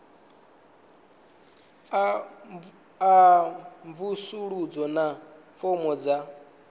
a mvusuludzo na fomo dza